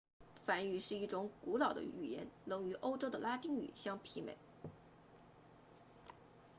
梵语是一种古老的语言能与欧洲的拉丁语相媲美